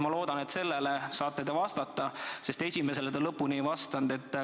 Ma loodan, et sellele saate te vastata, esimesele te paraku lõpuni ei vastanud.